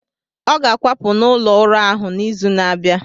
Ọ ga-akwapụ n’ụlọ ụrọ ahu n’izu na-abịa.